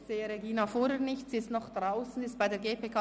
Ich sehe Regina Fuhrer nicht, sie ist noch draussen bei der GPK.